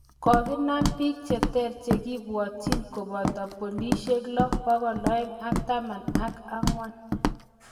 Kogenam biik cheter chegibwotchin koboto polishek lo.pokol aeng ak taman ak angwan